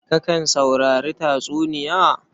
Kakan saurari tatsuniya?